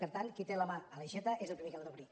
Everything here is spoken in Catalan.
per tant qui té la mà a l’aixeta és el primer que l’ha d’obrir